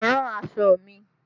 Rán aṣọ mi!